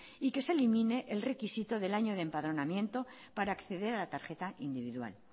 y que se elimine el requisito del año de empadronamiento para acceder a la tarjeta individual